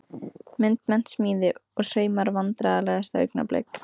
Myndmennt, smíði og saumar Vandræðalegasta augnablik?